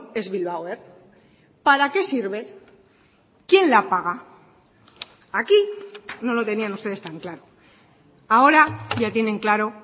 es bilbao air para qué sirve quién la paga aquí no lo tenían ustedes tan claro ahora ya tienen claro